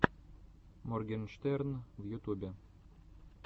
моргенштерн в ютубе